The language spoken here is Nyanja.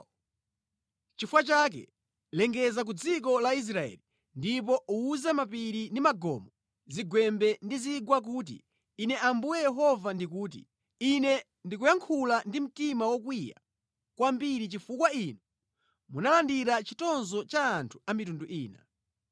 Nʼchifukwa chake, lengeza ku dziko la Israeli, ndipo uwuze mapiri ndi magomo, zigwembe ndi zigwa kuti, ‘Ine Ambuye Yehova ndikuti: Ine ndikuyankhula ndi mtima wokwiya kwambiri chifukwa inu munalandira chitonzo cha anthu a mitundu ina.’